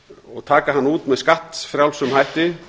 og taka hann út með skattfrjálsum hætti